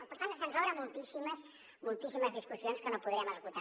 per tant se’ns obren moltíssimes discussions que no podrem esgotar